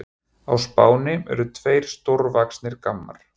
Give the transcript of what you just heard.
Á Spáni eru tveir stórvaxnir gammar.